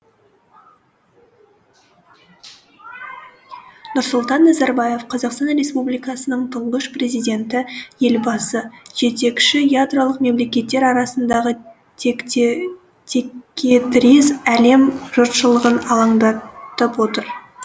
нұрсұлтан назарбаев қазақстан республикасының тұңғыш президенті елбасы жетекші ядролық мемлекеттер арасындағы текетірес әлем жұртшылығын алаңдатып отыр